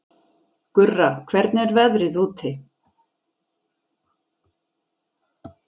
Gurra, hvernig er veðrið úti?